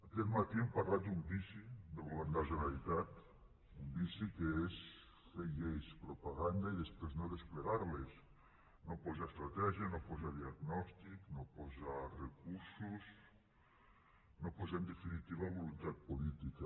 aquest matí hem parlat d’un vici del govern de la generalitat un vici que és fer lleis propaganda i després no desplegar les no posar estratègia no posar diagnòstic no posar recursos no posar en definitiva voluntat política